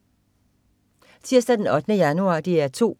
Tirsdag den 8. januar - DR 2: